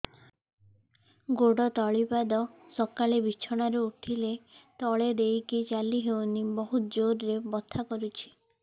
ଗୋଡ ତଳି ପାଦ ସକାଳେ ବିଛଣା ରୁ ଉଠିଲେ ତଳେ ଦେଇକି ଚାଲିହଉନି ବହୁତ ଜୋର ରେ ବଥା କରୁଛି